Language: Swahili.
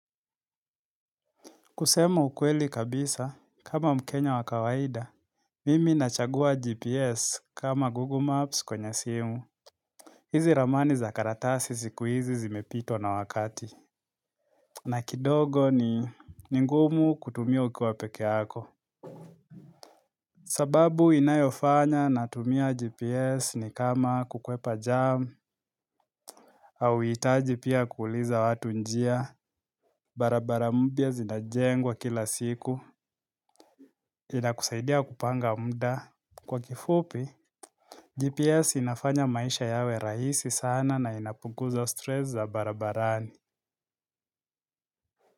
Kusema ukweli kabisa, kama mkenya wa kawaida, mimi nachagua GPS kama Google Maps kwenye simu. Hizi ramani za karatasi siku hizi zimepitwa na wakati. Na kidogo ni ni ngumu kutumia ukiwa peke yako. Sababu inayofanya natumia GPS ni kama kukwepa jam, hauhitaji pia kuuliza watu njia, barabara mpya zinajengwa kila siku, inakusaidia kupanga muda. Kwa kifupi, GPS inafanya maisha yawe rahisi sana na inapunguza stress za barabarani.